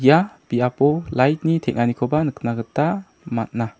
ia biapo lait ni teng·aniko nikna gita man·a.